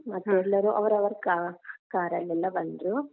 ಹಾ ಮತ್ತೆ ಎಲ್ಲರೂ ಅವರವರ್ ca~ car ರಲ್ಲೆಲಾ ಬಂದ್ರು.